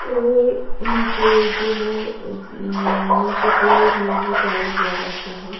और नीचे जो है नीचे फ्लोर में भी टाइल्स लगा के हैं।